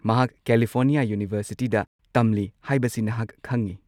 ꯃꯍꯥꯛ ꯀꯦꯂꯤꯐꯣꯔꯅꯤꯌꯥ ꯌꯨꯅꯤꯚꯔꯁꯤꯇꯤꯗ ꯇꯝꯂꯤ ꯍꯥꯏꯕꯁꯤ ꯅꯍꯥꯛ ꯈꯪꯉꯤ꯫